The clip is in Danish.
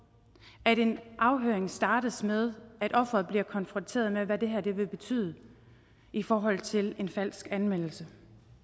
at en afhøring startes med at offeret bliver konfronteret med hvad det her vil betyde i forhold til en falsk anmeldelse